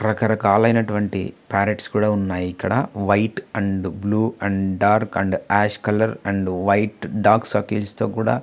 రకరకాల అయినటువంటి ప్యారెట్స్ కూడా ఉన్నాయి ఇక్కడ white and blue and dark ash colour and white dark circles తో కూడా --